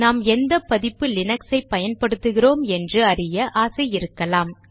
நாம் எந்த பதிப்பு லினக்சை பயன்படுத்துகிறோம் என்று அறிய ஆசை இருக்கலாம்